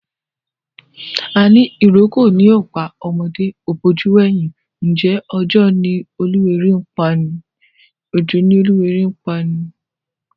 Àní ìrókò ni ó pá ọmọdé, ó bojú wẹ̀yìn, ǹjẹ́ òojọ́ ni oluwéré ń pani?